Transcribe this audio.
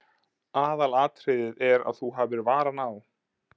Aðalatriðið er að þú hafir varann á.